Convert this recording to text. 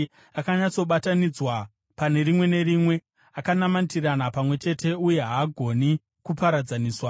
Akanyatsobatanidzwa pane rimwe nerimwe; akanamatirana pamwe chete uye haagoni kuparadzaniswa.